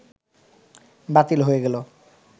বাতিল হয়ে গেল